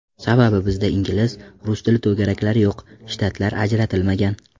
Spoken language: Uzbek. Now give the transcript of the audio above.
Sababi bizda ingliz, rus tili to‘garaklari yo‘q, shtatlar ajratilmagan.